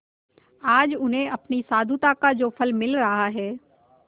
आज उन्हें अपनी साधुता का जो फल मिल रहा है